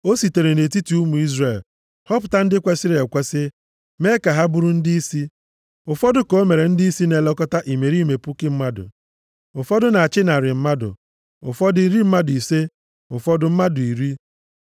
O sitere nʼetiti ụmụ Izrel họpụta ndị kwesiri ekwesi mee ka ha bụrụ ndịisi. Ụfọdụ ka o mere ndịisi na-elekọta imerime puku mmadụ, ụfọdụ na-achị narị mmadụ, ụfọdụ, iri mmadụ ise, ụfọdụ, mmadụ iri.